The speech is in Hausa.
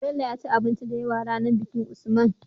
Bello yaci abinci da yawa ranar bikin usman